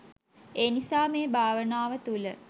ඒ නිසා මේ භාවනාව තුළ